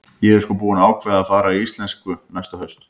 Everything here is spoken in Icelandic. Ég er sko búin að ákveða að fara í íslensku næsta haust.